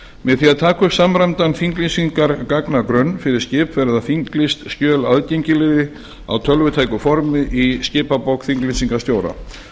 með því að taka upp samræmdan þinglýsingargagnagrunn fyrir skip verða þinglýst skjöl aðgengileg á tölvutæku formi í skipabók þinglýsingarstjóra